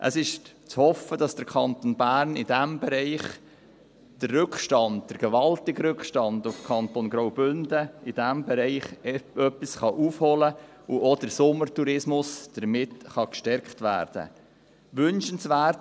Es ist zu hoffen, dass der Kanton Bern in diesem Bereich den Rückstand – den gewaltigen Rückstand – auf den Kanton Graubünden ein wenig aufholen und dass auch der Sommertourismus damit gestärkt werden kann.